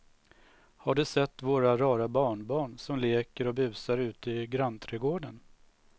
Har du sett våra rara barnbarn som leker och busar ute i grannträdgården!